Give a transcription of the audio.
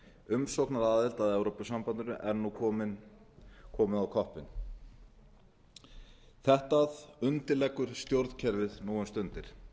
umsóknaraðild að evrópusambandinu er nú komið á koppinn þetta undirleggur stjórnkerfið nú um stundir